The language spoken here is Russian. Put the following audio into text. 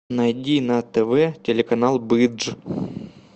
найди на тв телеканал бридж